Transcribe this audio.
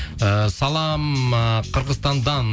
ііі салам ыыы қырғызстандан